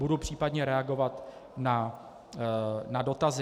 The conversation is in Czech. Budu případně reagovat na dotazy.